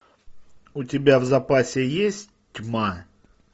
у тебя в запасе есть тьма